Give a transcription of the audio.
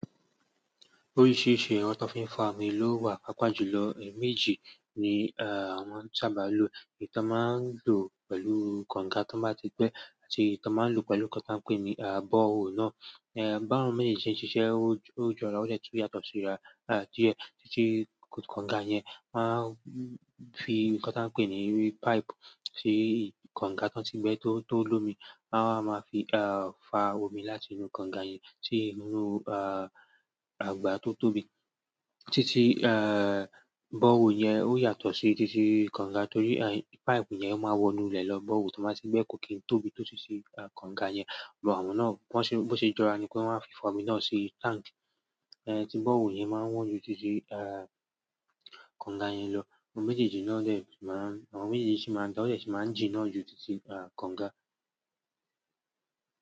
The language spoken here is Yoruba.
Oríṣiríṣi ẹ̀rọ tí wọ́n fi ń fa omi ló wà, pàápàá jùlọ mejì ni àwọn sábà ń lò. Èyí tí a n máa ń lò pẹ̀lú kọ̀ǹga tó bá ti gbẹ́ àti èyí tí wọ́n máa ń lò pẹ̀lú ohun tí a ń pè ní bọ́ọ̀wọ̀ náà. Ẹ̀ bá wọ́n méjèèjì ṣe ń ṣiṣẹ́, ó jọra, ó tẹ́ tun yàtọ̀ síra. Títí kọ̀ǹga yẹn, wọ́n máa ń fi nkan tí a ń pè ní páìpù sí kọ̀ǹga tó ti gbẹ́ tó lómi, wọ́n a máa fi fa omi láti inú kọ̀ǹga yẹn sí inú àagbà to tóbi. Títí bọ́ọ̀wọ̀ yẹn ó yàtọ̀ sí títí kọ̀ǹga torí páìpù yẹn ó máa wọ inú ilẹ̀ lọ, bọ́ọ̀wọ̀ tó bá ti gbẹ́ kò kí n tóbi tó títí kọ̀ǹga yẹn. Ṣùgbọ́n àwọn náà bó ṣe jọra ni kí wọ́n máa fi fa omi náà sí táǹkì. Ẹ̀ tí bọ́ọ̀wọ̀ yẹn máa ń wọ́n ju títí kọ̀ǹga yẹn lọ. Òmí méjèèjì náà dee m máa ń-- àwọn méjèèjì ṣì máa ń dá, ó jẹ́ ṣì máa ń jì náà ju títí kọ̀ǹga.